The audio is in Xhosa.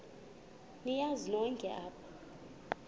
niyazi nonk apha